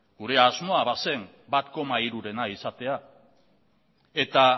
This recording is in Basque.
gure asmoa bazen bat koma hirurena izatea eta